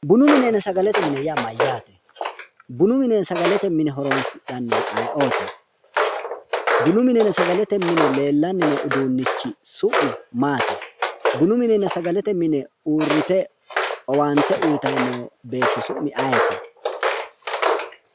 Bunu minenna sagalete mine yaa mayyaate? Bunu minenna sagalete mine horonsidhannori ayeeooti? Bunu minenna sagalete mine leellanni no uduunnichi su'mi maati? Bunu minenna sagalete mine uurrite owaante uuyitayi noo beetto su'mi ayeeti?